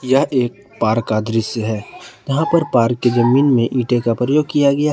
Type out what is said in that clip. यह एक पार्क का दृश्य है यहां पर पार्क की जमीन में ईंटें का प्रयोग किया गया है।